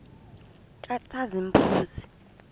katshazimpuzi